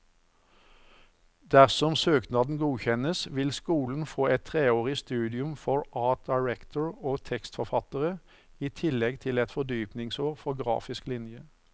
Dersom søknaden godkjennes, vil skolen få et treårig studium for art director og tekstforfattere, i tillegg til et fordypningsår for grafisk linje.